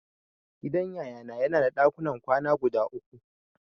Gidan Yayana yana da dakunan kwana guda uku.